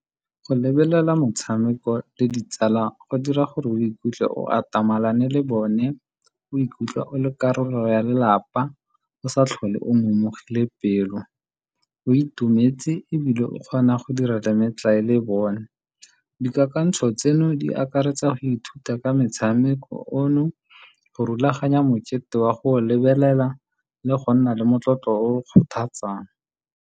Go lebelela motshameko le ditsala go dira gore o ikutlwe o atamelane le bone, o ikutlwa o le karolo ya lelapa, o sa tlhole o momogile pelo, o itumetse, ebile o kgona go dira le metlae le bone. Di kakantsho tseno di akaretsa go ithuta ka metshameko ono, go rulaganya mokete wa go lebelela le go nna le motlotlo o kgothatsang.